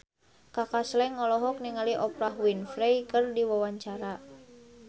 Kaka Slank olohok ningali Oprah Winfrey keur diwawancara